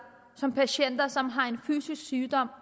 som gælder patienter som har en fysisk sygdom